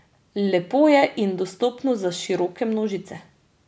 Lepo je in dostopno za široke množice.